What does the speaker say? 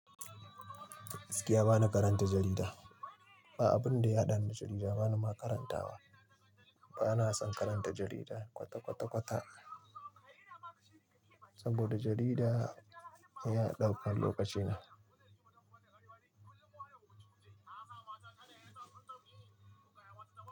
Gaskiya bana karanta jarida. Ba abin da ya haɗani da jarida bana ma karantawa. Bana son karanta jarida kwata-kwata-kwata saboda jarida yana ɗaukar lokacina.